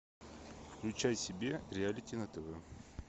включай себе реалити на тв